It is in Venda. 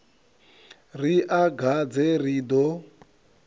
ri a gadze ri ḓo